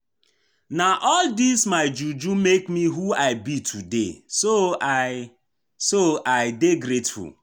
Na all dis my juju make me who I be today so I so I dey grateful